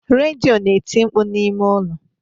Redio na-eti mkpu n'ime ụlọ